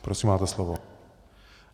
Prosím, máte slovo.